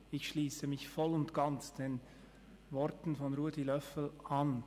Ich schliesse mich voll und ganz den Worten von Ruedi Löffel an.